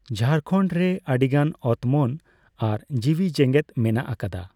ᱡᱷᱟᱲᱠᱷᱚᱸᱰ ᱨᱮ ᱟᱹᱰᱤᱜᱟᱱ ᱚᱛᱢᱚᱱ ᱟᱨ ᱡᱤᱣᱤ ᱡᱮᱸᱜᱮᱫ ᱢᱮᱱᱟᱜ ᱟᱠᱟᱫᱟ ᱾